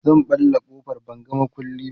zan ɓalla ƙofar ban ga maƙulli ba